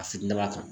A finna kan